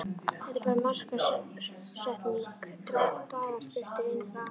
Þetta er bara markaðssetning, dagar fluttir inn frá ameríku.